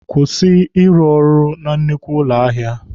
Kwụsị ịrụ na nnukwu ụlọ ahịa!